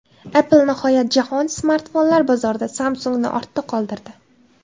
Apple nihoyat jahon smartfonlar bozorida Samsung‘ni ortda qoldirdi.